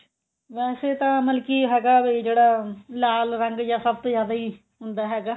ਵੈਸੇ ਤਾਂ ਮਤਲਬ ਕੀ ਹੈਗਾ ਵੀ ਜਿਹੜਾ ਲਾਲ ਰੰਗ ਜਾਂ ਸਭ ਤੋਂ ਜਿਆਦਾ ਈ ਹੁੰਦਾ ਹੈਗਾ